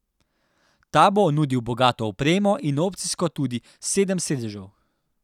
Ta bo nudil bogato opremo in opcijsko tudi do sedem sedežev.